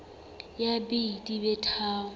ya b di be tharo